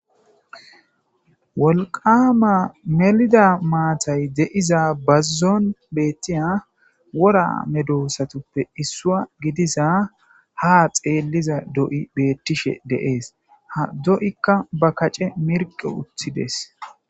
Wolqqama mellida matay de'iza bazzon bettya wora meddosatuppe issuwa gidiza ha xelliza do'i bettishe de'es ha do'ika ba kacce mirqqi uttides.